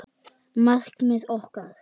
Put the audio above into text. Markmið okkar?